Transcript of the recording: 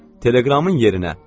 Teleqramın yerinə.